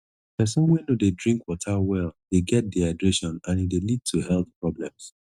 pesin wey no dey drink water well dey get dehydration and e dey lead to health problems